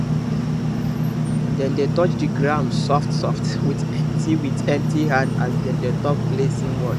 dem dey touch the ground softsoft with empty with empty hand as dem dey talk blessing word